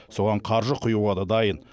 соған қаржы құюға да дайын